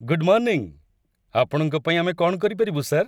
Good morning! ଆପଣଙ୍କ ପାଇଁ ଆମେ କ'ଣ କରିପାରିବୁ, ସାର୍?